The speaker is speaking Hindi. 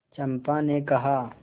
चंपा ने कहा